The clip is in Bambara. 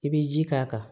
I bɛ ji k'a kan